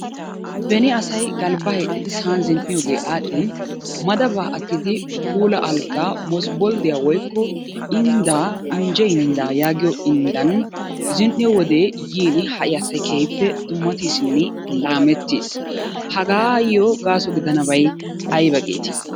Beni asay galbaa hiixxidi sa'an zin'iyoogee aadhin madabaa agidi puula algaa mosbboldiya woykko indaa injje indaa yaagiyo indan zin'iyo wode yiini ha'i asay keehippe dummatiisinne laamettiis. Hagaayoo gaaso gidanabay ayba geetii?